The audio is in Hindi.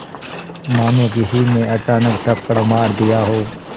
मानो किसी ने अचानक थप्पड़ मार दिया हो